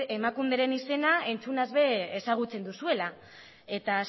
emakunderen izena entzunaz ere ezagutzen duzuela eta